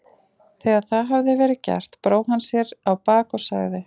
Þegar það hafði verið gert brá hann sér á bak og sagði